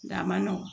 Nga a ma nɔgɔn